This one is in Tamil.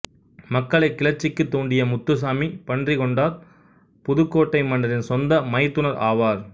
மக்களை கிளர்ச்சிக்கு தூண்டிய முத்துசாமி பன்றிகொண்டார் புதுக்கோட்டை மன்னரின் சொந்த மைத்துனர் ஆவார்